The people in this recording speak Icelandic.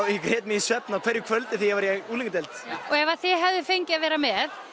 í svefn á hverju kvöldi þegar ég var í unglingadeild og ef þið hefðuð fengið að vera með